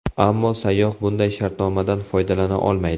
Ammo sayyoh bunday shartnomadan foydalana olmaydi.